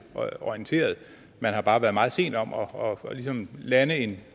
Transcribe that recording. orienteret man har bare været meget sent om ligesom at lande en